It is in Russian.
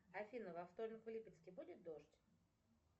афина во вторник в липецке будет дождь